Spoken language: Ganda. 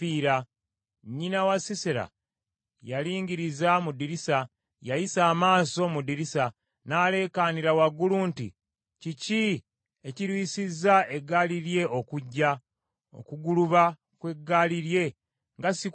“Nnyina wa Sisera yalingiriza mu ddirisa; yayisa amaaso mu ddirisa, n’aleekaanira waggulu nti ‘Kiki ekirwisizza eggaali lye okujja? Okuguluba kw’eggaali lye nga sikuwulira?’